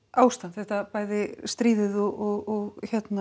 ástand þetta bæði stríðið og